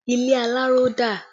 Ilé aláró dà?